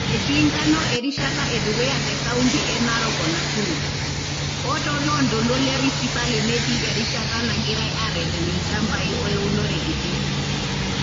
Etii enkano erishata e dukuya te kaunti e Narok o Nakuru, o too loo ntoluo le Rift netii erishata negirai aareten ilchambai o eunore kiti.